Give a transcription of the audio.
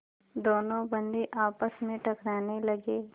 दोनों बंदी आपस में टकराने लगे